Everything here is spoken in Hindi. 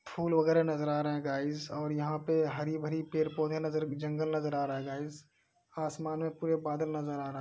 फूल वगैरह नजर आ रहे हैं गाइस और यहां पे हरे भरे पेड़ पौधे नजर जंगल नजर आ रहा है गाइस । आसमान में पूरा बादल नजर आ रहा --